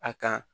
A kan